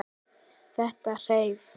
Þetta hreif.